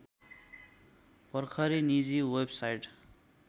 भर्खरै निजी वेबसाइट